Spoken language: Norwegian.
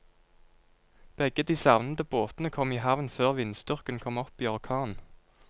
Begge de savnede båtene kom i havn før vindstyrken kom opp i orkan.